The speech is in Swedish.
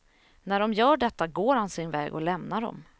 När de gör detta går han sin väg och lämnar dem.